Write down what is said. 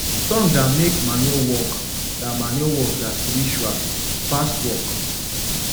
song da make manure work da manure work da spiritual e pass work